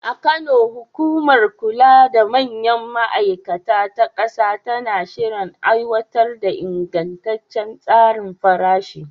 A Kano, hukumar kula da manyan ma’aikata ta ƙasa tana shirin aiwatar da ingantaccen tsarin farashi.